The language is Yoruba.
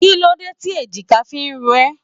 Kí ló dé tí èjìká fi ń rò ẹ?